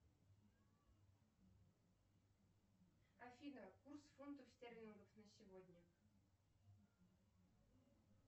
афина курс фунтов стерлингов на сегодня